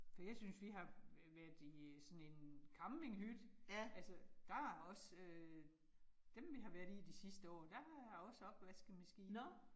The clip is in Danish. For jeg synes vi har øh været i sådan en campinghytte altså der er også øh dem vi har været i de sidste år, der er også opvaskemaskine